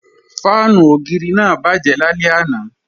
Fáànù ògiri náà bàjẹ́ lálẹ́ àná